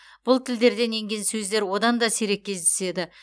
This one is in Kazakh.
бұл тілдерден енген сөздер одан да сирек кездеседі